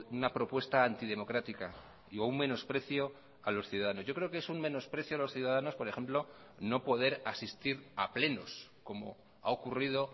una propuesta antidemocrática y un menosprecio a los ciudadanos yo creo que es un menosprecio a los ciudadanos por ejemplo no poder asistir a plenos como ha ocurrido